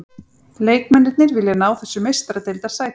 Leikmennirnir vilja ná þessu meistaradeildarsæti.